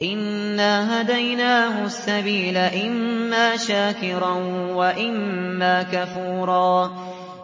إِنَّا هَدَيْنَاهُ السَّبِيلَ إِمَّا شَاكِرًا وَإِمَّا كَفُورًا